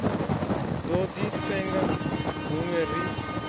do di senga hunwe ri